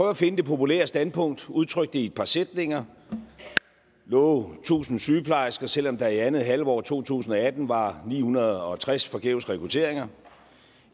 at finde det populære standpunkt udtrykke det i et par sætninger love tusind sygeplejersker selv om der i andet halvår af to tusind og atten var ni hundrede og tres forgæves rekrutteringer